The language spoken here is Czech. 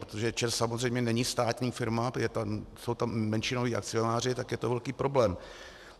Protože ČEZ samozřejmě není státní firma, jsou tam menšinoví akcionáři, tak je to velký problém.